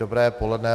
Dobré poledne.